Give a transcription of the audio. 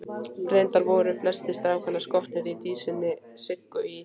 Reyndar voru flestir strákanna skotnir í dísinni Siggu í